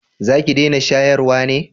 za ki dena shayarwa ne?